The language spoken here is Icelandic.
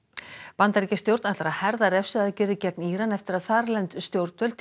Bandaríkjastjórn ætlar að herða refsiaðgerðir gegn Íran eftir að þarlend stjórnvöld